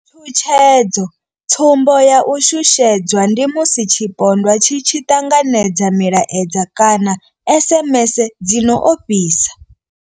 Tshutshedzo tsumbo ya u shushedzwa ndi musi tshipondwa tshi tshi ṱanganedza milaedza kana SMS dzi no ofhisa.